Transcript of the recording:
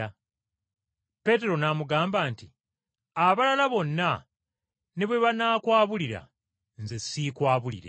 Peetero n’amugamba nti, “Abalala bonna ne bwe banaakwabulira, nze siikwabulire!”